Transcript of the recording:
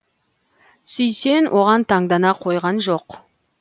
сүйсен оған таңдана қойған жоқ